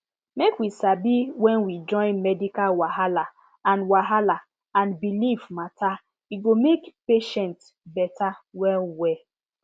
make we sabi when we join medical wahala and wahala and belief matter e go make patient better well well